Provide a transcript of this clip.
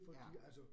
Ja